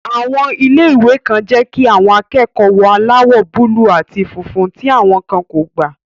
Àwọn ilé-ìwé kan jẹ́ kí àwọn akẹ́kọ̀ọ́ wọ aláwọ̀ búúlù àti funfun, tí àwọn kan kò gbà